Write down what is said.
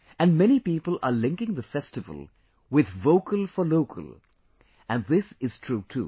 And many people are linking the festival with Vocal for Local, and this is true too